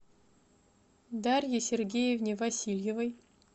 дарье сергеевне васильевой